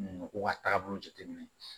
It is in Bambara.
Mɔgɔw ka taabolo jateminɛ